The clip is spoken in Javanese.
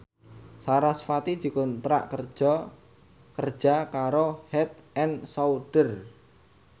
sarasvati dikontrak kerja karo Head and Shoulder